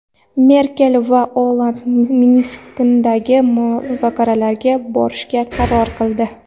Merkel va Olland Minskdagi muzokaralarga borishga qaror qildi.